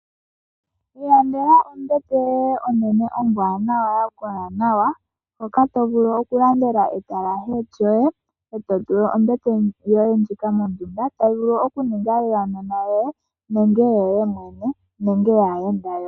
Ilandela ombete yoye onene ombwaanawa ya kola nawa hoka to vulu okulandela etalashe lyoye, e to tula ombete yoye ndjika mondunda to vulu oku yi ninga yaanona yoye nenge yoye mwene, nenge yaayenda yoye.